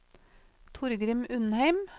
Torgrim Undheim